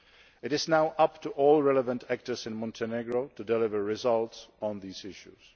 It is now up to all relevant actors in Montenegro to deliver results on these issues.